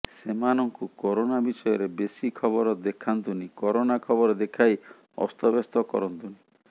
ସେମାନଙ୍କୁ କରୋନା ବିଷୟରେ ବେଶୀ ଖବର ଦେଖାନ୍ତୁନି କରୋନା ଖବର ଦେଖାଇ ଅସ୍ତବ୍ୟସ୍ତ କରନ୍ତୁନି